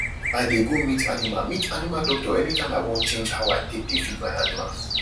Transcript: i dey go meet animal meet animal doctor anytime i wan change how i take dey feed my animals